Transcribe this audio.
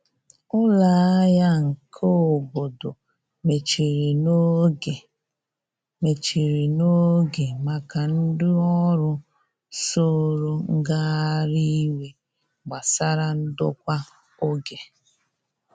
Ụlọ ahia nke obodo mechiri n'oge mechiri n'oge maka ndi ọrụ soro ngahari iwe gbasara ndokwa oge.